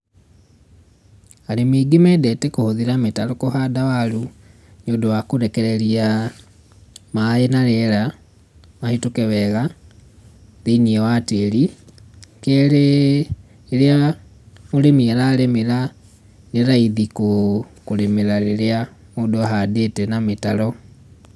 Arĩmi aingĩ mendete kũhũthĩra mĩtaro kũhanda waru, nĩũndũ wa kũrekereria maaĩ na rĩera mahĩtũke wega thĩiniĩ wa tĩĩri. Kerĩ, rĩrĩa mũrĩmi ararĩmĩra nĩ raithi kũrĩmĩra rĩrĩa mũndũ ahandĩte na mĩtaro.